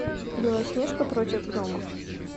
белоснежка против гномов